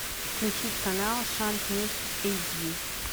включить канал шант ньюс эйч ди